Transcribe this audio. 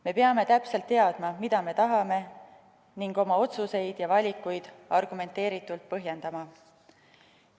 Me peame täpselt teadma, mida me tahame, ning oma otsuseid ja valikuid argumenteeritult põhjendama.